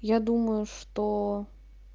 я думаю что